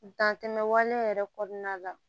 Dantɛmɛ waleya yɛrɛ kɔnɔna la